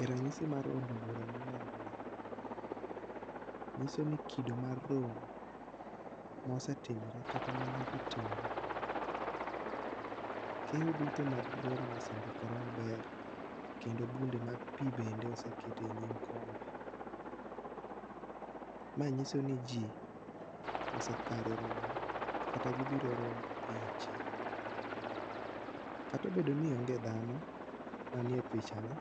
E ranyisi mar od bura ma inenoni, nyiso ni kido mar romo ma osetimore kata ma nyaka timore. Keyo duto mag romo osendikore maber, kendo bunde mag pi bende oseket e nyim kombe. Ma nyiso ni ji osekare romo, kata gibiro romo piny achiel. Kata obedo ni onge dhano manie pichani.